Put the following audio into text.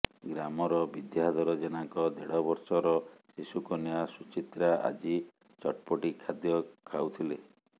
ଗ୍ରାମର ବିଦ୍ୟାଧର ଜେନାଙ୍କ ଦେଢ଼ବର୍ଷର ଶିଶୁକନ୍ୟା ସୁଚିତ୍ରା ଆଜି ଚଟ୍ପଟି ଖାଦ୍ୟ ଖାଉଥିଲେ